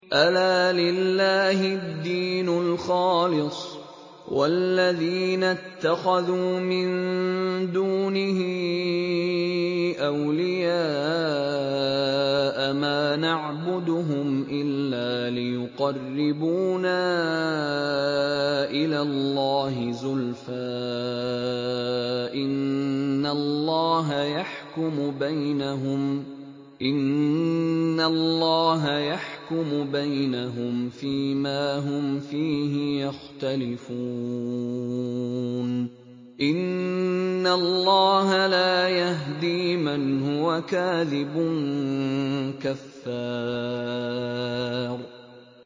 أَلَا لِلَّهِ الدِّينُ الْخَالِصُ ۚ وَالَّذِينَ اتَّخَذُوا مِن دُونِهِ أَوْلِيَاءَ مَا نَعْبُدُهُمْ إِلَّا لِيُقَرِّبُونَا إِلَى اللَّهِ زُلْفَىٰ إِنَّ اللَّهَ يَحْكُمُ بَيْنَهُمْ فِي مَا هُمْ فِيهِ يَخْتَلِفُونَ ۗ إِنَّ اللَّهَ لَا يَهْدِي مَنْ هُوَ كَاذِبٌ كَفَّارٌ